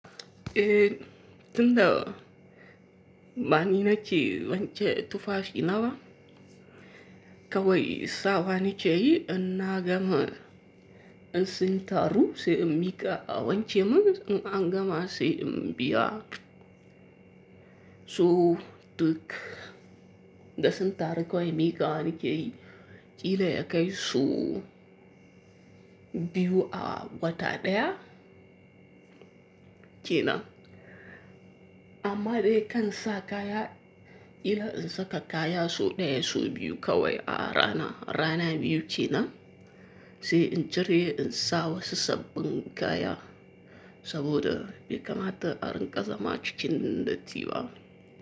Eh, tunda bani nake wanke tufafi na ba kawai sawa nake yi in na gama in sintaru sai in miƙa a wanke min in an gama sai in biya. So duk da sintaru kawai miƙawa nike yi ƙila ya kai so biyu a wata daya kenan. Amma dai kan sa kaya ƙila in saka kaya so daya so biyu kawai a rana, rana biyu kenan. Sai in cire in sa wasu sabbin kaya saboda bai kamata arinƙa zama cikin datti ba.